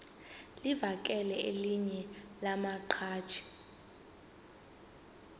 livakele elinye lamaqhaji